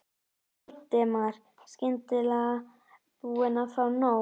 Valdimar, skyndilega búinn að fá nóg.